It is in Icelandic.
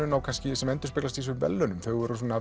kannski endurspeglast í þessum verðlaunum þau voru